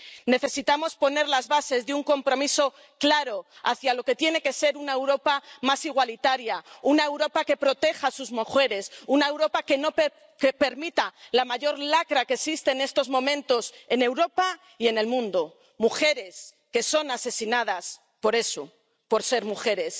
Necesitamos poner las bases de un compromiso claro hacia lo que tiene que ser una Europa más igualitaria, una Europa que proteja a sus mujeres, una Europa que no permita la mayor lacra que existe en estos momentos en Europa y en el mundo mujeres que son asesinadas por eso, por ser mujeres.